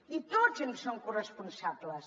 i tots en som corresponsables